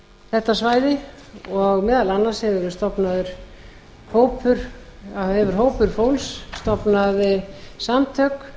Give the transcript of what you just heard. þetta svæði og meðal annars hefur hópur fólks stofnað samtök